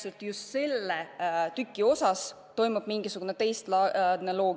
Miks just selle lisaraha puhul peaks kehtima mingisugune teistlaadne loogika?